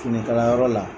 Finikalayɔrɔ la